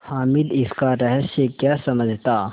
हामिद इसका रहस्य क्या समझता